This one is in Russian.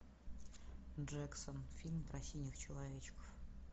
джексон фильм про синих человечков